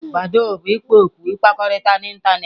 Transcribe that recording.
Badoo bụ ikpo okwu ịkpakọrịta n'ịntanetị.